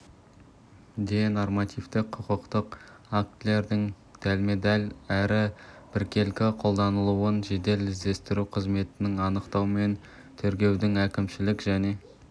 де нормативтік құқықтық актілердің дәлме-дәл әрі біркелкі қолданылуын жедел-іздестіру қызметінің анықтау мен тергеудің әкімшілік және